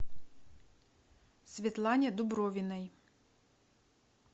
светлане дубровиной